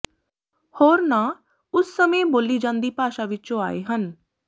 ਹੋਰ ਨਾਂ ਉਸ ਸਮੇਂ ਬੋਲੀ ਜਾਂਦੀ ਭਾਸ਼ਾ ਵਿੱਚੋਂ ਆਏ ਹਨ